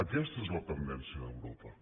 aquesta és la tendència d’europa